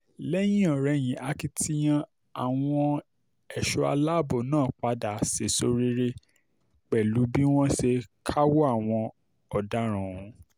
lẹ́yìn-ọ̀-rẹyìn akitiyan àwọn ẹ̀ṣọ́ aláàbọ̀ náà padà sẹ́ẹ̀sọ rere pẹ̀lú bí wọ́n ṣe káwọ́ àwọn ọ̀daràn ọ̀hún